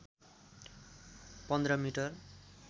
१५ metre